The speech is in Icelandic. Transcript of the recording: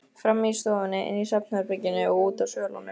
Frammi í stofunni, inni í svefnherberginu og úti á svölunum.